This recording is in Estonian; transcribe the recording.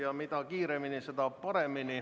Ja mida kiiremini, seda parem.